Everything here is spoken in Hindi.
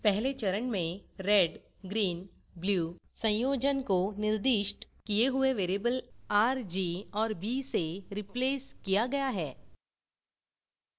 पहले चरण में redgreenblue संयोजन को निर्दिष्ट किए हुए variables आर जी और by से replaced किया गया है